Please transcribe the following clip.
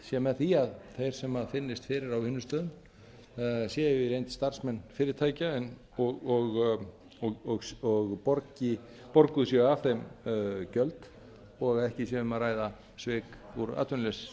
sé með því að þeir finnist fyrir á vinnustöðum séu í reynd starfsmenn fyrirtækja og borguð séu af þeim gjöld og ekki sé um að ræða svik úr